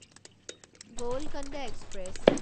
Golconda express